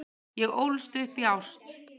Ég ólst upp í ást.